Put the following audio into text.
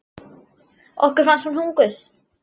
Okkur fannst hún huguð.